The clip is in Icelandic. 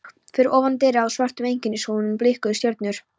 Fyrir ofan derið á svörtum einkennishúfunum blikuðu stjörnur.